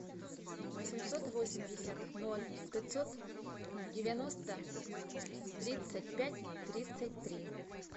восемьсот восемьдесят ноль пятьсот девяносто тридцать пять тридцать три